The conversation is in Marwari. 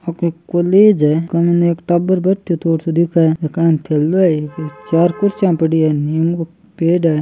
आ कोई कॉलेज है कन एक टाबर बैठो थोड़ो सो दिख एकान थैलों है एक चार कुर्सियां पड़ी हैं नीम को पेड़ है।